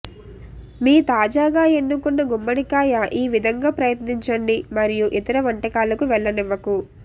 మీ తాజాగా ఎన్నుకున్న గుమ్మడికాయ ఈ విధంగా ప్రయత్నించండి మరియు ఇతర వంటకాలకు వెళ్లనివ్వకు